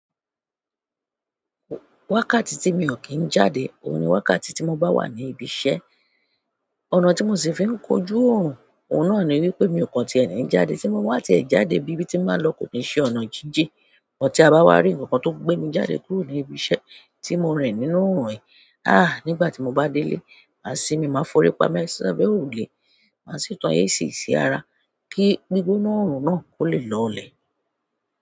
Wákàtí tí mi ò kí ń jáde, òun ni wákàtí tí mo bá wà ní ibi iṣẹ́. Ọ̀nà tí mo sì fi ń kojú òrun, òun náà ni wípé mi ò kàn tí e ní ń jáde, tí mo bá ti ẹ̀ jáde ibi tí n ba lọ kò kin ṣe ọ̀nà jinjin. Ṣùgbọ́n tí a bá wá rí ǹkan tó ń gbé mi jáde kúrò ní ibi iṣẹ́ tí mo rìn nínú òòrùn yìí, ah! Nígbà tí mo bá délé, màá sínmi máa fori pamọ́ si abe òrùlé, màá sì tan AC sí ara kí gbígbóná òòrùn náà kó lè lọlẹ̀.